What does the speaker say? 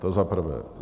To za prvé.